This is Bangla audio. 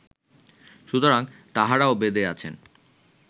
সুতরাং তাঁহারাও বেদে আছেন